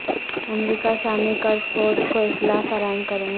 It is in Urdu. امریکہ شامی کرد فورس کو اسلحہ فراہم کرے گا